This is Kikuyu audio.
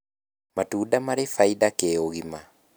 matunda marĩbaida kĩũgima